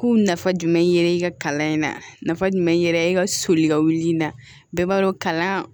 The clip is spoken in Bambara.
K'u nafa jumɛn yɛrɛ i ka kalan in na nafa jumɛn yɛrɛ i ka soli ka wuli bɛɛ b'a dɔn kalan